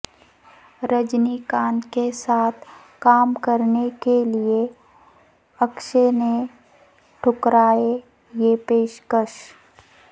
رجنی کانت کے ساتھ کام کرنے کے لئے اکشے نے ٹھکرائے یہ پیشکش